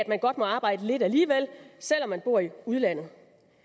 man godt må arbejde lidt alligevel selv om man bor i udlandet